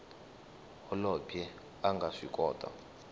holobye a nga swi kota